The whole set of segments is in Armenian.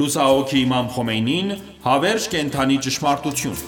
Լուսահոգի Իմամ Խոմեյնին, հավերժ կենդանի ճշմարտություն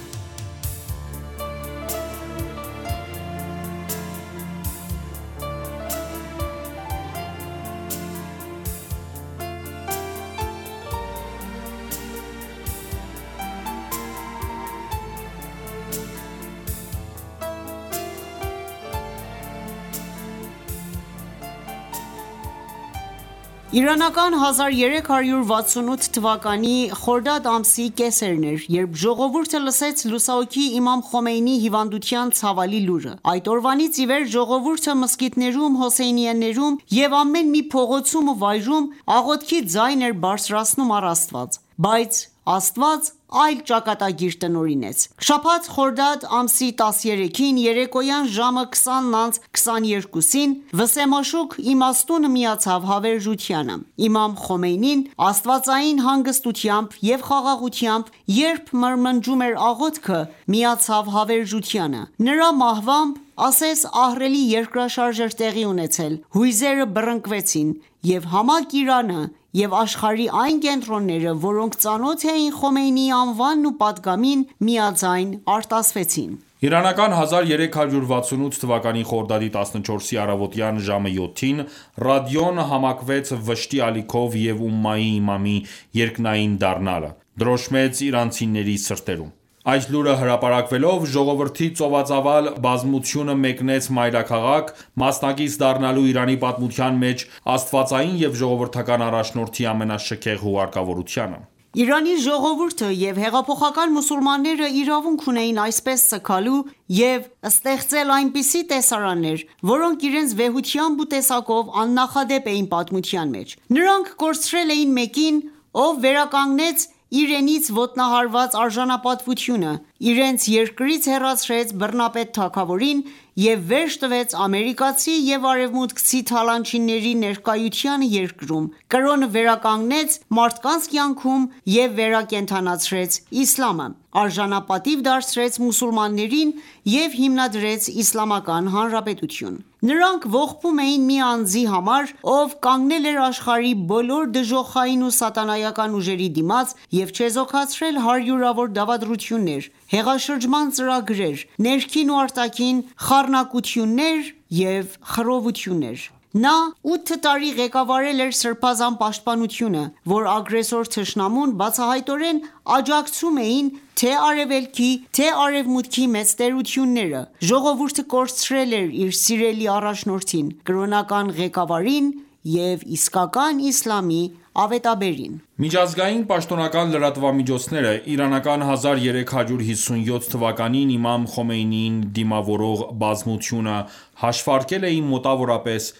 Իրանական 1368 թվականի խորդադ ամսի կեսերն էր ,երբ ժողովուրդը լսեց լուսահոգի Իմամ Խոմեյնիի հիվանդության ցավալի լուրը:Այդ օրվանից իվեր ժողովուրդը մզկիթներում, հոսեյնիեներում և ամեն մի փողոցում ու վայրում աղոթքի ձայն էր բարձրացնում առ Աստված: Բայց Աստված այլ ճակատագիր տնօրինեց: Շաբաթ խորդադ ամսի 13-ին երեկոյան ժամը 20:22-ին, վսեմաշուք իմաստունը միացավ հավերժությանը: Իմամ Խոմեյնին Աստվածային հանգստությամբ և խաղաղությամբ, երբ մրմնջում էր աղոթքը ,միացավ հավերժությանը: Նրա մահվամբ, ասես ահռելի երկրաշարժ էր տեղի ունեցել, հույզերը բռնկվեցին, և համակ Իրանը և աշխարհի այն կենտրոնները, որոնք ծանոթ էին Խոմեյնիի անվանն ու պատգամին, միաձայն արտասվեցին: Իրանական 1368 թվականի խորդադի 14-ի առավոտյան ժամը 7-ին, ռադիոն համակվեց վշտի ալիքով և Ումմայի իմամի երկնային դառնալը ,դրոշմեց իրանցիների սրտերում: Այս լուրը հրապարակվելով ,ժողովրդի ծովածավալ բազմությունը մեկնեց մայրաքաղաք՝ մասնակից դառնալու Իրանի պատմության մեջ աստվածային և ժողովրդական առաջնորդի ամենաշքեղ հուղարկավորությանը: Իրանի ժողովուրդը և հեղափոխական մուսուլմանները իրավունք ունեին այդպես սգալու և ստեղծել այնպիսի տեսարաններ, որոնք իրենց վեհությամբ ու տեսակով աննախադեպ էին պատմության մեջ: Նրանք կորցրել էին մեկին, ով վերականգնեց իրենց ոտնահարված արժանապատվությունը, իրենց երկրից հեռացրեց բռնապետ թագավորին, և վերջ տվեց ամերիկացի և արևմուտքցի թալանչիների ներկայությանը երկրում, կրոնը վերանգնեց մարդկանց կյանքում և վերակենդանացրեց Իսլամը, արժանապատիվ դարձրեց մուսուլմաններին և հիմնադրեց Իսլամական Հանրապետություն: Նրանք ողբում էին մի անձի համար, ով կանգնել էր աշխարհի բոլոր դժոխային ու սատանայական ուժերի դիմաց և չեզոքացրել հարյուրավոր դավադրություններ, հեղաշրջման ծրագրեր, ներքին ու արտաքին խառնակություններ և խռովություններ: Նա 8 տարի ղեկավարել էր սրբազան պաշտպանությունը, որ ագրեսոր թշնամուն բացահայտորեն աջակցում էին թե՛ Արեւելքի, թե՛ Արեւմուտքի մեծ տերությունները։ Ժողովուրդը կորցրել էր իր սիրելի առաջնորդին, կրոնական ղեկավարին և իսկական Իսլամի ավետաբերին: Միջազգային պաշտոնական լրատվամիջոցները ,իրանական 1357 թվականին Իմամ Խոմեյնիին դիմավորող բազմությունը հաշվարկել էին մոտավորապես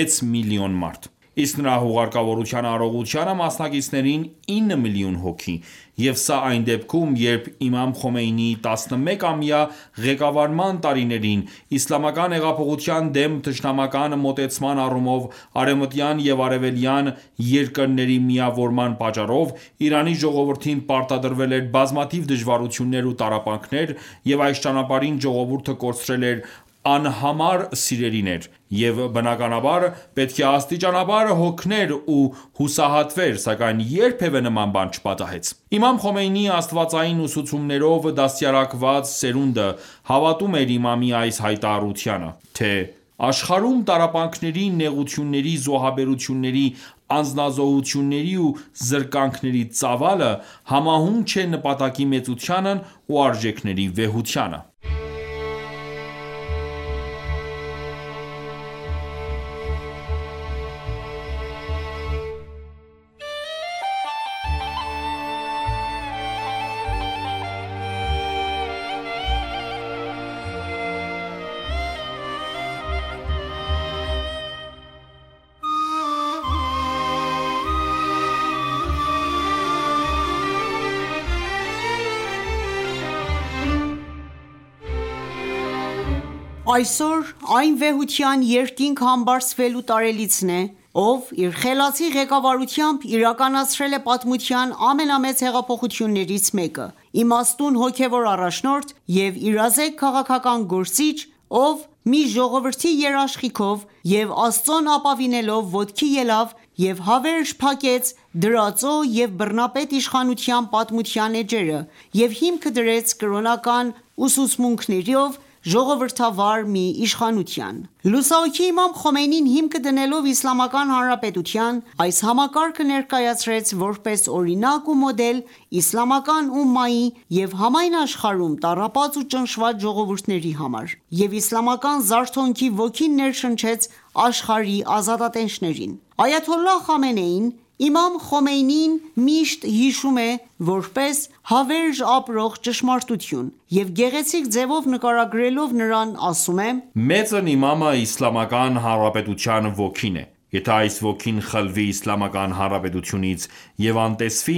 6 միլիոն մարդ, իսկ նրա հուղարկավորության արարողությանը մասնակիցներին 9 միլիոն հոգի և սա այն դեպքում, երբ Իմամ Խոմեյնիի 11-ամյա ղեկավարման տարիներին, իսլամական հեղափոխության դեմ թշնամական մոտեցման առումով ,արևմտյան և արևելյան երկրների միավորման պատճառով ,Իրանի ժողովուրդին պարտադրվել էր բազմաթիվ դժվարություններ ու տառապանքներ ,և այս ճանապարհին ժողովուրդը կորցրել էր անհամար սիրելիներ,և բնականաբար պետք է աստիճանաբար հոգներ ու հուսահատվեր ,սակայն երբևէ նման բան չպատահեց: Իմամ Խոմեյնիի աստվածային ուսուցումներով դաստիարակված սերունդը հավատում էր Իմամի այս հայտարաությանը թե.« Աշխարհում տառապանքների, նեղությունների, զոհաբերությունների, անձնազոհությունների ու զրկանքների ծավալը համահունչ է նպատակի մեծությանն ու արժեքների վեհությանը»: Այսօր այն վեհության երկինք համբարձվելու տարելիցն է, ով իր խելացի ղեկավարությամբ իրականացրել է պատմության ամենամեծ հեղափոխություններից մեկը: Իմաստուն հոգևոր առաջնորդ և իրազեկ քաղաքական գործիչ ,ով մի ժողովրդի երաշխիքով և Աստծուն ապավինելով ոտքի ելավ և հավերժ փակեց դրածո և բռնապետ իշխանության պատմության էջերը և հիմքը դրեց կրոնական ուսմունքներով ժողովրդավար մի իշխանության:Լուսահոգի Իմամ Խոմեյնին ,հիմքը դնելով Իսլամական հանրապետության ,այս համակարգը ներկայացրեց ,որպես օրինակ ու մոդել իսլամական ումմայի և համայն աշխարհում տառապած ու ճնշված ժողովուրդների համար: Եվ իսլամական զարթոնքի ոգին ներշնչեց աշխարհի ազատատենչներին։ Այաթոլլահ Խամենեին, Իմամ Խոմեյնիին միշտ հիշում է, որպես «հավերժ ապրող ճշմարտություն»և գեղեցիկ ձևով նկարագրելով նրան ասում է.« Մեծն իմամը Իսլամական Հանրապետության ոգին է, եթե այս ոգին խլվի Իսլամական Հանրապետությունից և անտեսվի,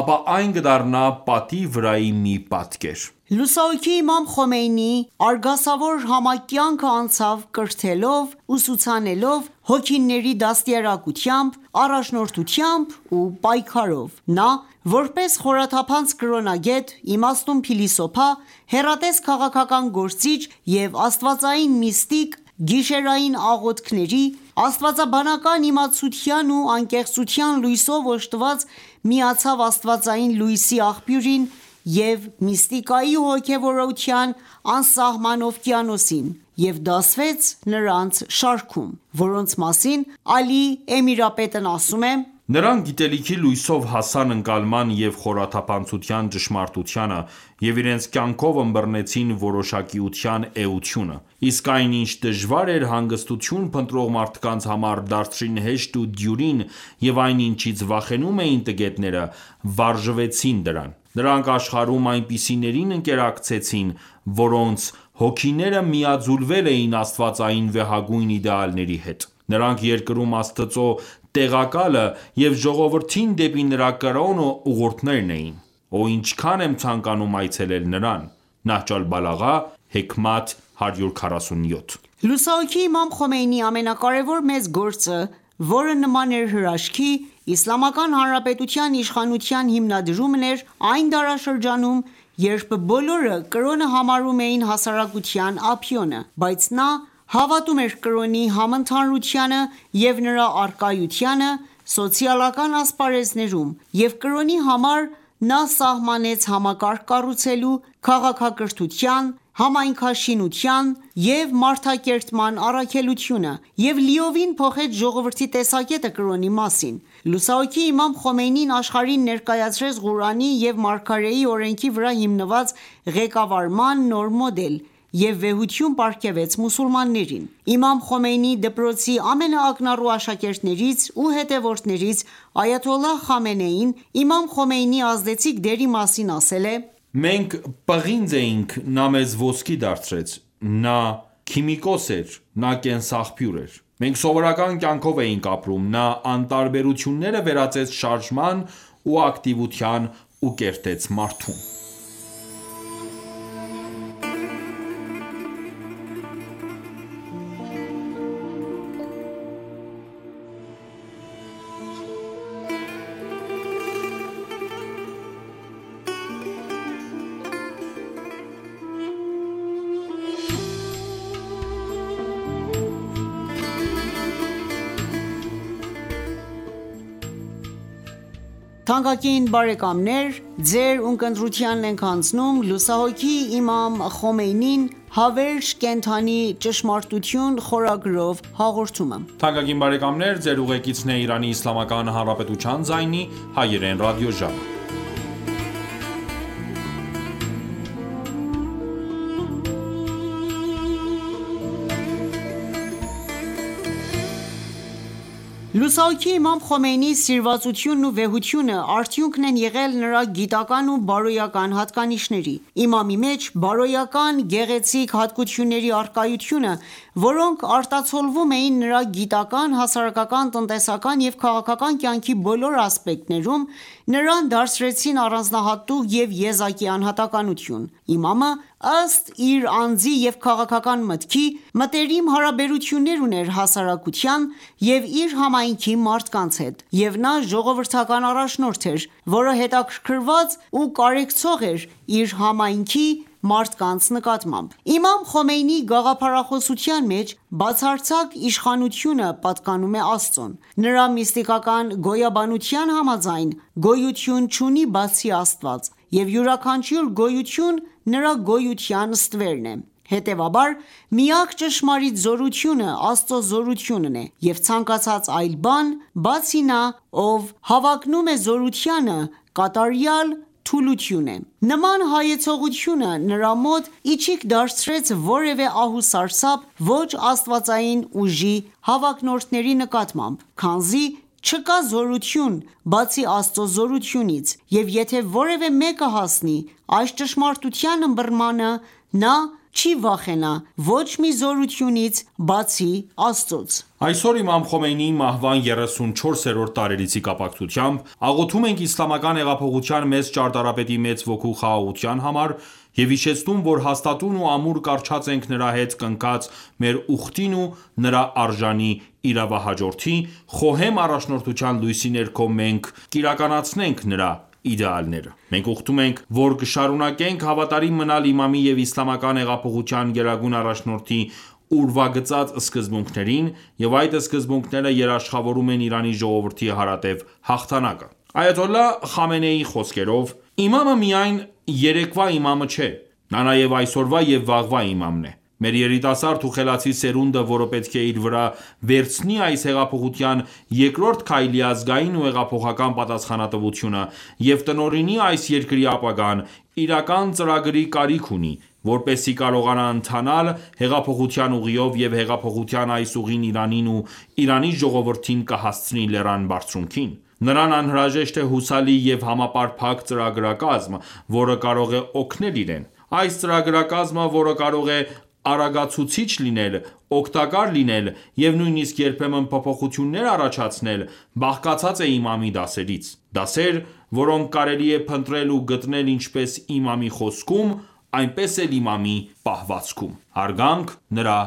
ապա այն կդառնա պատի վրայի մի պատկեր»։ Լուսահոգի Իմամ Խոմեյնիի արգասավոր համակ կյանքը անցավ ՝ կրթելով, ուսուցանելով, հոգիների դաստիարակությամբ, առաջնորդությամբ ու պայքարով: Նա որպես խորաթափանց կրոնագետ, իմաստուն փիլիսոփա, հեռատես քաղաքական գործիչ և աստվածային միստիկ՝ գիշերային աղոթքների, աստվածաբանական իմացության ու անկեղծության լույսով օժտված միացավ աստվածային լույսի աղբյուրին և միստիկայի ու հոգևորության անսահման օվկիանոսին և դասվեց նրանց շարքում ,որոնց մասին Ալի Էմիրապետն ասում է.« Նրանք գիտելիքի լույսով հասան ընկալման և խորաթափանցության ճշմարտությանը և իրենց կյանքով ըմբռնեցին որոշակիության էությունը ,իսկ այն ինչ դժվար էր հանգստություն փնտրող մարդկանց համար, դարձրին հեշտ ու դյուրին և այն ինչից վախենում էին տգետները ,վարժվեցին դրան:Նրանք աշխարհում այնպիսիներին ընկերակցեցին, որոնց հոգիները միաձուլվել էին Աստվածային վեհագույն իդեալների հետ:Նրանք երկրում Աստծու տեղակալը և ժողովրդին դեպի նրա կրոնը ուղորդողներն են: Օհ ,ինչքան եմ ցանկանում այցելել նրան: «Նահջոլբալաղա ,Հեքմաթ 147»: Լուսահոգի Իմամ Խոմեյնիի ամենակարեւոր մեծ գործը, որը նման էր հրաշքի, Իսլամական Հանրապետության իշխանության հիմնադրումն էր այն դարաշրջանում, երբ բոլորը կրոնը համարում էին հասարակության ափիոնը, բայց նա հավատում էր կրոնի համընդհանուրությանը և նրա առկայությանը սոցիալական ասպարեզներում և կրոնի համար նա սահմանեց համակարգ կառուցելու, քաղաքակրթության, համայնքաշինության և մարդակերտման առաքելությունը, և լիովին փոխեց ժողովրդի տեսակետը կրոնի մասին:Լուսահոգի Իմամ Խոմեյնին աշխարհին ներկայացրեց Ղուրանի և Մարգարեի օրենքի վրա հիմնված ղեկավարման նոր մոդել և վեհություն պարգևեց մուսուլմաններին: Իմամ Խոմեյնիի դպրոցի ամենաակնառու աշակերտներից ու հետևորդներից Այաթոլլահ Խամենեին ,Իմամ Խոմեյնիի ազդեցիկ դերի մասին ասել է.«Մենք պղինձ էինք, նա մեզ ոսկի դարձրեց, նա քիմիկոս էր, նա կենսաղբյուր էր: Մենք սովորական կյանքով էինք ապրում, նա անտարբերությունները վերածեց շարժման ու ակտիվության ու կերտեց մարդուն»: Լուսահոգի Իմամ Խոմեյնիի սիրվածությունն ու վեհությունը ,արդյունքն են եղել նրա գիտական ու բարոյական հատկանիշների: Իմամի մեջ բարոյական գեղեցիկ հատկությունների առկայությունը, որոնք արտացոլվում էին նրա գիտական, հասարակական, տնտեսական և քաղաքական կյանքի բոլոր ասպեկտներում, նրան դարձրեցին առանձնահատուկ և եզակի անհատականություն: Իմամը, ըստ իր անձի և քաղաքական մտքի, մտերիմ հարաբերություններ ուներ հասարակության և իր համայնքի մարդկանց հետ, և նա ժողովրդական առաջնորդ էր, որը հետաքրքրված ու կարեկցող էր իր համայնքի մարդկանց նկատմամբ: Իմամ Խոմեյնիի գաղափարախոսության մեջ «բացարձակ իշխանությունը» պատկանում է Աստծուն։ Նրա միստիկական գոյաբանության համաձայն՝ գոյություն չունի բացի Աստծված, և յուրաքանչյուր գոյություն նրա գոյության ստվերն է։ Հետևաբար, միակ ճշմարիտ զորությունը Աստծո զորությունն է, և ցանկացած այլ բան, բացի նա, ով հավակնում է զորությանը, կատարյալ թուլություն է: Նման հայեցողությունը նրա մոտ իչիք դարձրեց որևէ ահ ու սարսափ ոչ աստվածային ուժի հավակնորդների նկատմամբ, քանզի չկա զորություն, բացի Աստծո զորությունից, և եթե որևէ մեկը հասնի այս ճշմարտության ըմբռնմանը, նա չի վախենա ոչ մի զորությունից, բացի Աստծուց: Այսօր Իմամ Խոմեյնիի մահվան 34-րդ տարելիցի կապակցությամբ աղոթում ենք Իսլամական հեղափոխության մեծ ճարտարապետի մեծ ոգու խաղաղության համար և հիշեցնում ,որ հաստատուն ու ամուր կառչած ենք նրա հետ կնքած մեր ուխտին և նրա արժանի իրավահաջորդի խոհեմ առաջնորդության լույսի ներքո մենք կիրականացնենք նրա իդեալները: Մենք ուխտում ենք, որ կշարունակենք հավատարիմ մնալ իմամի և Իսլամական հեղափոխության գերագույն առաջնորդի ուրվագծած սկզբունքներին, և այդ սկզբունքները երաշխավորում են Իրանի ժողովրդի հարատև հաղթանակը: Այաթոլլահ Խամենեիի խոսքերով.« Իմամը միայն երեկվա իմամը չէ, Նա նաև այսօրվա և վաղվա Իմամն է: Մեր երիտասարդ ու խելացի սերունդը, որը պետք է իր վրա վերցնի այս հեղափոխության երկրորդ քայլի ազգային ու հեղափոխական պատասխանատվությունը և տնօրինի այս երկրի ապագան, իրական ծրագրի կարիք ունի, որպեսզի կարողանա ընթանալ հեղափոխության ուղիով և հեղափոխության այս ուղին Իրանին և Իրանի ժողովրդին կհասցնի լեռան բարձրունքին: Նրան անհրաժեշտ է հուսալի և համապարփակ ծրագրակազմ, որը կարող է օգնել իրեն։ Այս ծրագրակազմը, որը կարող է արագացուցիչ լինել, օգտակար լինել և նույնիսկ երբեմն փոփոխություններ առաջացնել, բաղկացած է Իմամի դասերից: Դասեր, որոնք կարելի է փնտրել ու գտնել ինչպես Իմամի խոսքում, այնպես էլ Իմամի պահվածքում »: Հարգանք նրա